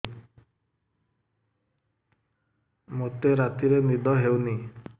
ମୋତେ ରାତିରେ ନିଦ ହେଉନି